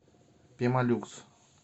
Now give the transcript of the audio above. пемолюкс